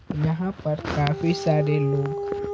यहां पर काफी सारे लोग।